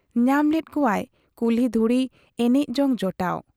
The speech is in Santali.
ᱧᱟᱢ ᱞᱮᱫ ᱠᱚᱣᱟᱭ ᱠᱩᱞᱦᱤ ᱫᱷᱩᱲᱤ ᱮᱱᱮᱡ ᱡᱚᱝ ᱡᱚᱴᱟᱣ ᱾